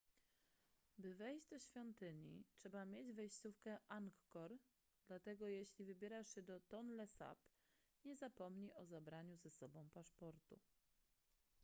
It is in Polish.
by wejść do świątyni trzeba mieć wejściówkę angkor dlatego jeśli wybierasz się do tonle sap nie zapomnij o zabraniu ze sobą paszportu